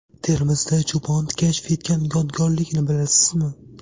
Termizda cho‘pon kashf etgan yodgorlikni bilasizmi?.